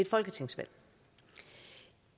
folketingsvalg